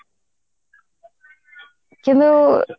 କିନ୍ତୁ